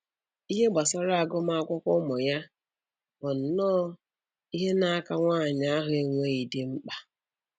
Ihe gbasara agụmakwụkwọ ụmụ ya bụnnọ ihe na-aka nwanyị ahụ enweghị di mkpa